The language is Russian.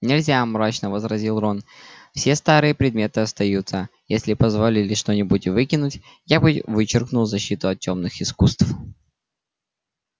нельзя мрачно возразил рон все старые предметы остаются если бы позволили что-нибудь выкинуть я бы вычеркнул защиту от тёмных искусств